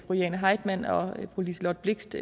fru jane heitmann og fru liselott blixt